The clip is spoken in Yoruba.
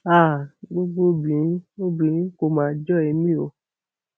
háà gbogbo obìnrin obìnrin kò mà jọ èmi o